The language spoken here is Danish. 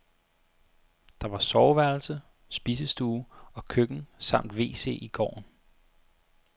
Der var soveværelse, spisestue og køkken samt wc i gården.